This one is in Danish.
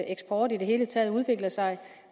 eksport i det hele taget udvikler sig